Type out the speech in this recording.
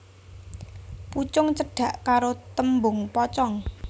Pucung cedhak karo tembung pocong